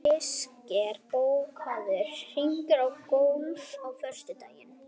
Kristgeir, bókaðu hring í golf á föstudaginn.